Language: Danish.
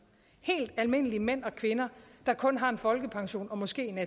helt almindelige mænd og kvinder der kun har en folkepension og måske en